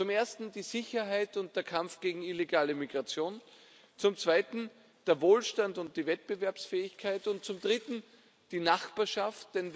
Zum Ersten die Sicherheit und der Kampf gegen illegale Migration, zum Zweiten der Wohlstand und die Wettbewerbsfähigkeit, und zum Dritten die Nachbarschaft.